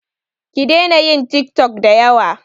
Ki daina yin tik tok da yawa